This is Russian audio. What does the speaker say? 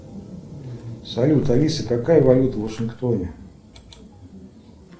салют алиса какая валюта в вашингтоне